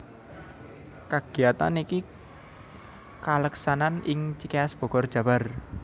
Kagiyatan iki kaleksanan ing Cikeas Bogor Jabar